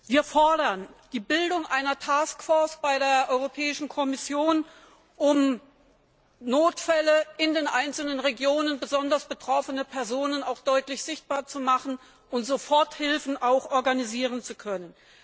Wir fordern die Bildung einer Taskforce bei der Europäischen Kommission, um Notfälle, in den einzelnen Regionen besonders betroffene Personen, auch deutlich sichtbar zu machen und Soforthilfen auch organisieren zu können.